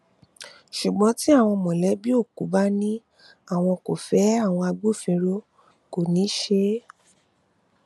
ṣùgbọn tí àwọn mọlẹbí òkú bá ní àwọn kò fẹ àwọn agbófinró kò ní í ṣe é